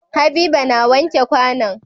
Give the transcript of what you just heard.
Habiba na wanke kwAnan